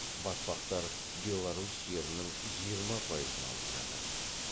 батпақтар беларусь жерінің жиырма пайызын алып жатыр